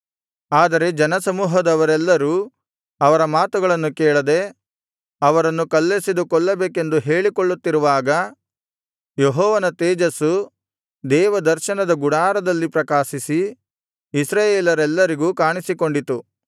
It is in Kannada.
ಆದರೆ ಜನಸಮೂಹದವರೆಲ್ಲರೂ ಅವರ ಮಾತುಗಳನ್ನು ಕೇಳದೆ ಅವರನ್ನು ಕಲ್ಲೆಸೆದು ಕೊಲ್ಲಬೇಕೆಂದು ಹೇಳಿಕೊಳ್ಳುತ್ತಿರುವಾಗ ಯೆಹೋವನ ತೇಜಸ್ಸು ದೇವದರ್ಶನದ ಗುಡಾರದಲ್ಲಿ ಪ್ರಕಾಶಿಸಿ ಇಸ್ರಾಯೇಲರೆಲ್ಲರಿಗೂ ಕಾಣಿಸಿಕೊಂಡಿತು